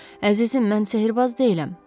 Əzizim, mən sehirbaz deyiləm.